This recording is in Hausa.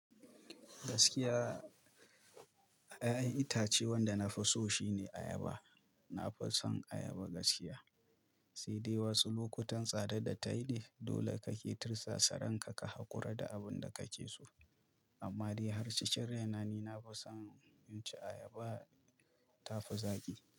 Gaskiya, a ƴaƴan itace wanda na fi so shine ayaba. Na fi son ayaba gaskiya, sai dai wasu lokutan tsadar da ta yi ne dole kake tirsasa ranka ka hakura da abinda kake so. Amma dai har cikin raina ni na fi son inci ayaba, tafi zaƙi.